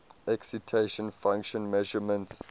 excitation function measurements